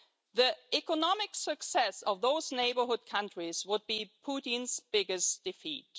The economic success of those neighbourhood countries would be Putin's biggest defeat.